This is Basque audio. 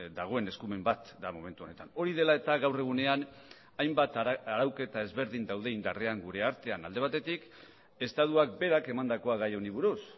dagoen eskumen bat da momentu honetan hori dela eta gaur egunean hainbat arauketa ezberdin daude indarrean gure artean alde batetik estatuak berak emandakoa gai honi buruz